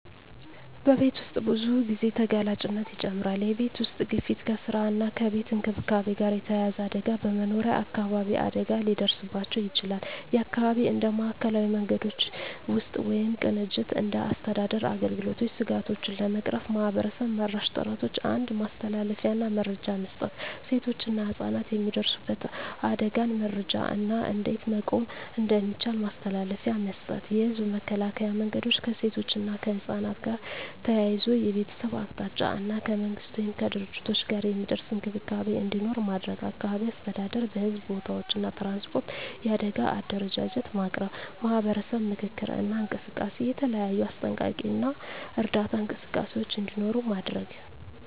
በቤት ውስጥ ብዙ ጊዜ ተጋላጭነት ይጨምራል የቤተሰብ ውስጥ ግፊት ከስራ እና ከቤት እንክብካቤ ጋር የተያያዘ አደጋ በመኖሪያ አካባቢ አደጋ ሊደርስባቸው ይችላል (የአካባቢ እንደ ማዕከላዊ መንገዶች ውስጥ ወይም ቅንጅት እንደ አስተዳደር አገልግሎቶች ስጋቶቹን ለመቅረፍ ማህበረሰብ-መራሽ ጥረቶች 1. ማስተላለፊያ እና መረጃ መስጠት ሴቶችና ህፃናት የሚደርሱበት አደጋን መረጃ እና እንዴት መቆም እንደሚቻል ማስተላለፊያ መስጠት። የህዝብ መከላከያ መንገዶች ከሴቶች እና ከህፃናት ጋር ተያያዘ የቤተሰብ አቅጣጫ እና ከመንግሥት ወይም ከድርጅቶች ጋር የሚደርስ እንክብካቤ እንዲኖር ማድረግ። አካባቢ አስተዳደር በሕዝብ ቦታዎች እና ትራንስፖርት የአደጋ አደረጃጀት ማቅረብ። ማህበረሰብ ምክክር እና እንቅስቃሴ የተለያዩ አስጠንቀቂ እና እርዳታ እንቅስቃሴዎች እንዲኖሩ ማድረግ።